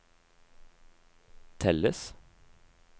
telles